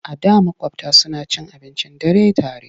A da maƙwabta suna cin abincin dare tare.